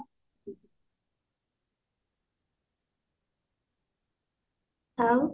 ଆଉ